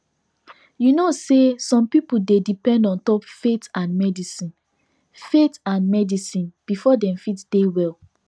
you know say some people dey depend ontop faith and medicine faith and medicine before dem fit dey well